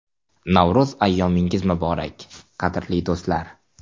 Navro‘z ayyomingiz muborak, qadrli do‘stlar!